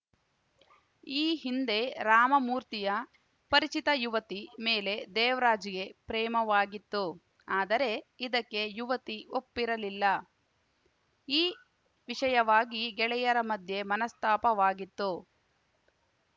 ಈ ಹಿಂದೆ ರಾಮಮೂರ್ತಿಯ ಪರಿಚಿತ ಯುವತಿ ಮೇಲೆ ದೇವರಾಜ್‌ಗೆ ಪ್ರೇಮವಾಗಿತ್ತು ಆದರೆ ಇದಕ್ಕೆ ಯುವತಿ ಒಪ್ಪರಲಿಲ್ಲ ಈ ವಿಷಯವಾಗಿ ಗೆಳೆಯರ ಮಧ್ಯೆ ಮನಸ್ತಾಪವಾಗಿತ್ತು